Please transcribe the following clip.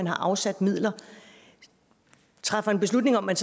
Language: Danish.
er afsat midler træffer en beslutning om at